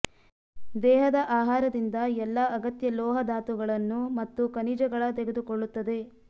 ದೇಹದ ಆಹಾರದಿಂದ ಎಲ್ಲಾ ಅಗತ್ಯ ಲೋಹ ಧಾತುಗಳನ್ನು ಮತ್ತು ಖನಿಜಗಳ ತೆಗೆದುಕೊಳ್ಳುತ್ತದೆ